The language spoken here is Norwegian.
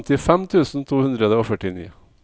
femtifem tusen to hundre og førtini